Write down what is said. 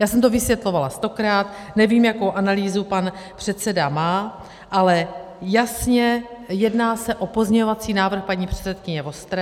Já jsem to vysvětlovala stokrát, nevím, jakou analýzu pan předseda má, ale jasně jedná se o pozměňovací návrh paní předsedkyně Vostré.